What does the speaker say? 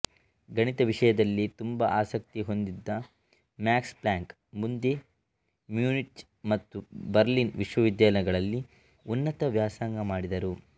ಗಣಿತ ವಿಷಯದಲ್ಲಿ ತುಂಬಾ ಆಸಕ್ತಿ ಹೊಂದಿದ್ದ ಮ್ಯಾಕ್ಸ್ ಪ್ಲಾಂಕ್ ಮುಂದೆ ಮ್ಯೂನಿಚ್ ಮತ್ತು ಬರ್ಲಿನ್ ವಿಶ್ವವಿದ್ಯಾನಿಲಯಗಳಲ್ಲಿ ಉನ್ನತ ವ್ಯಾಸಂಗ ಮಾಡಿದರು